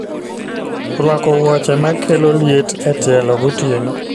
Rwako wuoche ma kelo liet e tielo gotieno